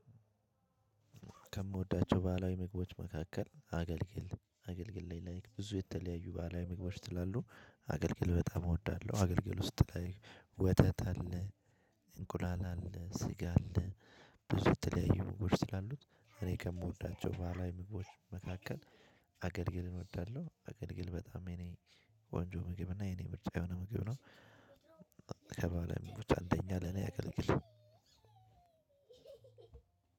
ከምወዳቸው ባህላዊ ምግቦች መካከል አገልግል አገልግል ላይ ብዙ የተለያዩ ባህላዊ ምግቦች ስላሉ አገልግል በጣም እወዳለሁ። አገልግል ውስጥ ላይ ወተት አለ እንቁላል አለ፣ ስጋ አለ ብዙ የተለያዩ ምግቦች ስላሉት እኔ ከምወዳቸው ባህላዊ ምግቦች መካከል አገልግልን እወዳለሁ። አገልግል በጣም የኔ ቆንጆ ምግብ እና የኔ ምርጫ የሆነ ምግብ ነው። ከባህላዊ ምግቦች አንደኛ ለኔ አገልግል